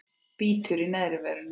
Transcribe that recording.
Bítur í neðri vörina.